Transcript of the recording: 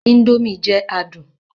Indomie jẹ adun